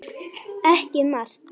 Ekki margt.